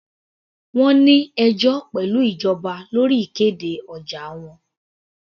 Wọ́n ní ẹjọ́ pẹ̀lú ìjọba lórí ìkéde ọjà wọn.